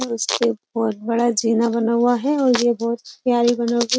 उसके बहुत बड़ा जीना बना हुआ है और ये बहुत प्यारी बनगी --